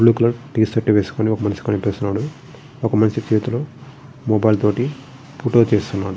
Blue colour T shirt వేసుకుని ఒక్క మనిషి కనిపిస్తున్నాడు. ఒక్క మనిషి చేతిలో మొబైల్ తోటి ఫోటో తీస్తున్నాడు.